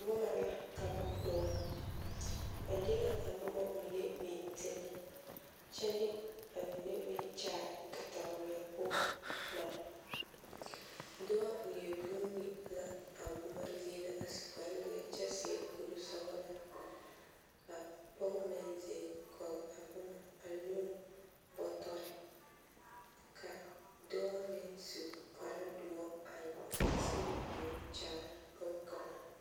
Boma la ka ba koɔrɔ ba de la a boma mine a beŋ teŋɛ kyɛ de a mine meŋ kyaare kataweɛ poɔ bare dɔɔ leɛ vuune la a boma zie na a su kparrezeɛ kyɛ seɛ koresɔglaa ka pɔge meŋ zeŋ kɔge a boma anoo bɔtɔre ka dɔɔ meŋ su kparredoɔre a teɛnɛ o nu kyaara bonkaŋa.